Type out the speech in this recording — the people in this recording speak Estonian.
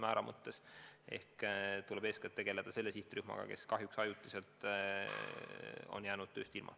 Eeskätt tuleb tegeleda selle sihtrühmaga, kes kahjuks ajutiselt on jäänud tööst ilma.